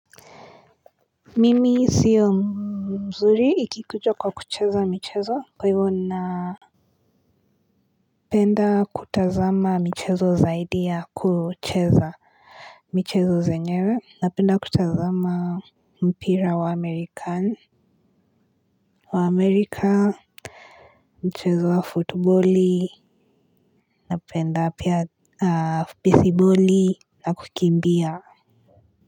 Mimi sio mzuri ikikuja kwa kucheza michezo. Kwa hivyo na penda kutazama michezo zaidi ya kucheza. Michezo zenyewe napenda kutazama mpira wa amerikani. Wa amerika mchezo wa footbali, napenda pia baseboli. Na kukimbia.